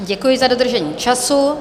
Děkuji za dodržení času.